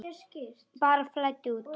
Bara flæddu út.